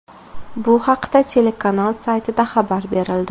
Bu haqda telekanal saytida xabar berildi .